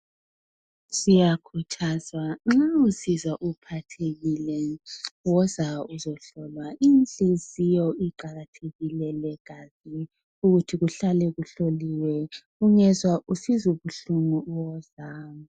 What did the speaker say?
Siyakhuthazwa nga usizwa uphathekile buya uzohlolwa inhliziyo iqakathekile legazi ukuthi kuhlale kuhloliwe ungezwa usizwa ubuhlungu woza.